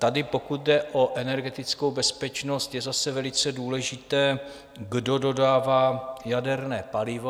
Tady, pokud jde o energetickou bezpečnost, je zase velice důležité, kdo dodává jaderné palivo.